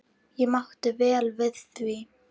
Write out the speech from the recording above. Ég mátti vel við því.